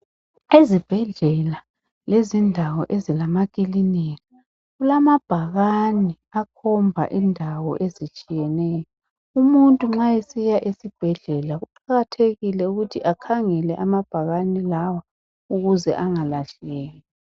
Ezibhedlela lezindawo ezilamakilinika kulamambakani akhomba indawo ezithiyeneyo. umuntu nxa esiya esibhedlela kuqakathekile ukuthi akhangele amabhakani lawa ukuze engalahleki.